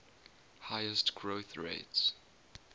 highest growth rates